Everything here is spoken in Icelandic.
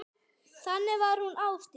Þannig var hún Ásdís.